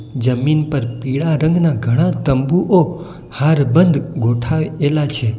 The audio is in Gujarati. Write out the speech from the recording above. જમીન પર પીળા રંગના ઘણાં તંબુઓ હાર બંધ ગોઠાવેલા છે.